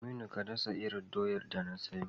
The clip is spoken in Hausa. Aminu, ka dasa irin doyar da na siyo.